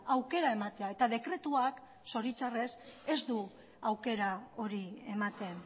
aukera ematea eta dekretuak zoritxarrez ez du aukera hori ematen